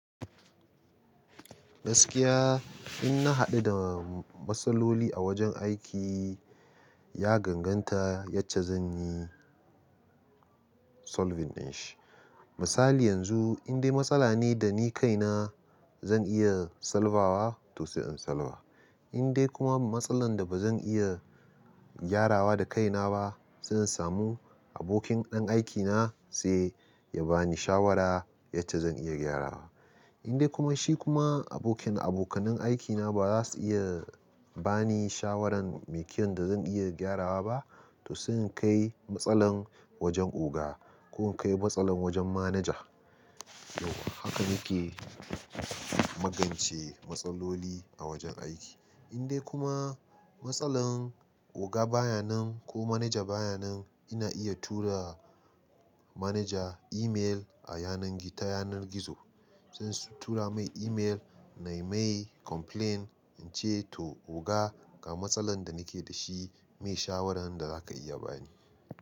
Gaskiya in na haɗu da matsaloli a wajen aiki, ya ganganta yace zan yi solving ɗin shi. Misali yanzu in dai matsala ne da ni kaina zan iya salbawa to sai in salba. In dai kuma matsalar da ba zan iya gyarawa da kaina ba, sai in samu abokin ɗan aikina sai ya bani shawara yace zan iya gyarawa. In dai kuma shi kuma abokin abokanan aikina ba za su iya bani shawaran mai kiyan da zan iya gyarawa ba, to sai in kai matsalar wajen oga ko in kai matsalar wajen manaja. Haka muke magance matsaloli a wajen aiki. In dai kuma matsalar oga baya nan ko manaja baya nan ina iya tura manaja email a yanar ta yanar gizo. Sai su tura mai email na mai complain in ce to oga ga matsalar da nake da shi, mai shawaran da za ka iya bani?